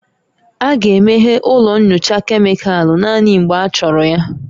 A ga-emeghe ụlọ nyocha kemịkalụ naanị mgbe achọrọ ya